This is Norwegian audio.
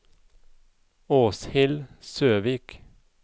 Åshild Søvik